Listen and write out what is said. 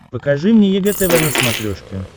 покажи мне егэ тв на смотрешке